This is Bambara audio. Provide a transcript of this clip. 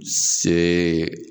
Se